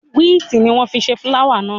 Wíìtì ni wọ́n fi ṣe fúláwà náà.